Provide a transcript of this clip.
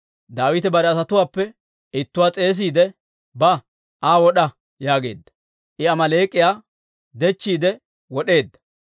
Daawite bare asatuwaappe ittuwaa s'eesiide, «Ba; Aa wod'a!» yaageedda; I Amaaleek'iyaa dechchiide wod'eedda.